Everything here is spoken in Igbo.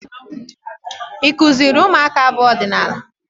Ị kụziri ụmụaka abụ ọdịnaala?